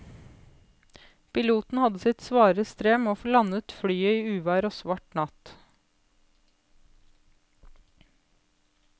Piloten hadde sitt svare strev med å få landet flyet i uvær og svart natt.